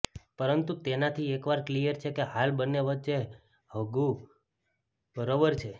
પરંતુ તેનાથી એક વાક ક્લિયર છે કે હાલ બંને વચ્ચે હધુ બરોબર છે